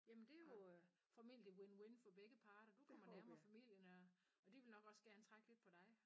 Jamen det jo øh formentlig win-win for begge parter du kommer nærmere på familien og og de vil nok også gerne trække lidt på dig